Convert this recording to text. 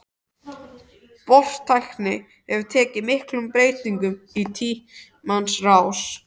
Bortækni hefur tekið miklum breytingum í tímans rás.